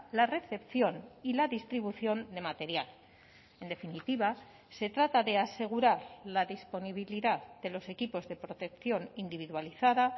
la recepción y la distribución de material en definitiva se trata de asegurar la disponibilidad de los equipos de protección individualizada